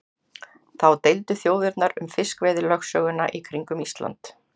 Þá deildu þjóðirnar um fiskveiðilögsöguna í kringum Ísland.